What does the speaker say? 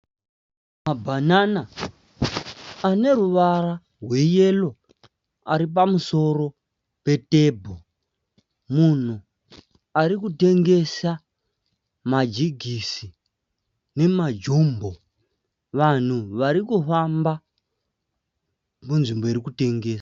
Mabhanana ane ruvara rwe yero ari pamusoro petebho. Munhu arikutengesa majigisi nemajombo. Vanhu varikufamba munzvimbo irikutengeswa.